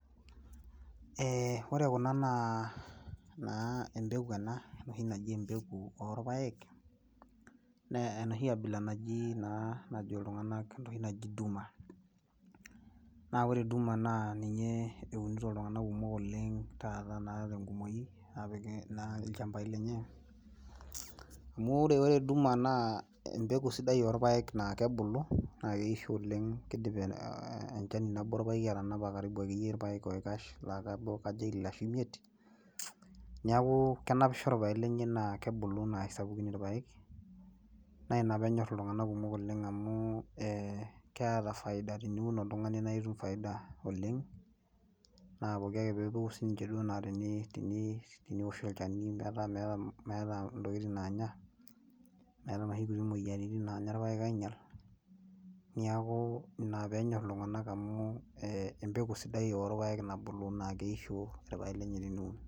Ore kuna naa embeku ena enoshi naji embeku olpaek, naa enoshi abila najo iltung'anak naji Duma. Naa ore Duma naa ninye eunito iltunganak kumok oleng taata naa tengumoi apik ilchambai lenye amu ore Duma naa embeku sidai olapaek naa kebulu keisho oleng keidim enchani nabo olpaeki atanapa akeyie karibu ilpaek oikash laa kajo ile ashu imiet niaku kenapisho ilapek lenye naa kebulu naa aisapukin ilpaek naa ina peenyor iltung'anak kumok oleng' amu keeta efaida teniun oltung'ani nitum faida oleng naa pooki ake itum siininye naa teniun niwosh olchani metaa meeta intokiting naanya, eetai inoshi moyiaritin naanya ilapaek ainyalaki niaku ina peenyor iltung'anak amu embeku sidai olpaek nabulu naa keisho ilpaek lenyenak eniun